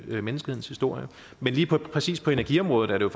menneskehedens historie men lige præcis på energiområdet er det